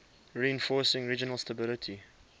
reinforcing regional stability